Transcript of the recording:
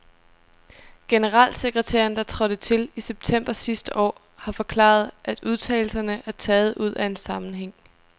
Generalsekretæren, der trådte til i september sidste år, har forklaret, at udtalelserne er taget ud af en sammenhæng.